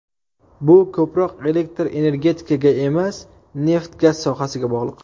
Bu ko‘proq elektr energetikaga emas, neft-gaz sohasiga bog‘liq.